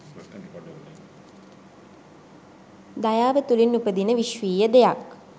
දයාව තුළින් උපදින විශ්වීය දෙයක්.